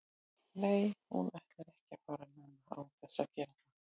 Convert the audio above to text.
Nei hún ætlar ekki að fara núna án þess að gera það.